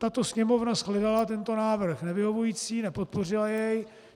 Tato Sněmovna shledala tento návrh nevyhovující, nepodpořila jej.